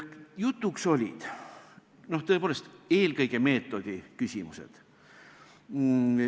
Jutuks olid tõepoolest eelkõige meetodiküsimused.